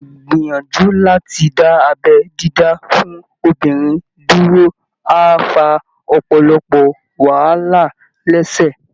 Ìgbìyànjú láti dá abẹ́ dídá fún obìnrin dúró á fa ọ̀pọ̀lọpọ̀ wàhálà lẹ́sẹ̀